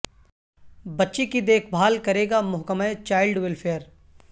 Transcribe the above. بچی کی دیکھ بھال کرے گا محکمہ چائلڈ ویلفیئر